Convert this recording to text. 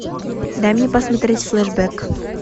дай мне посмотреть флешбэк